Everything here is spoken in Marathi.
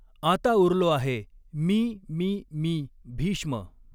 आता उरलो आहे मी मी मी भीष्म!